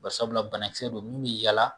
Bari sabula banakisɛ don m'u bi yaala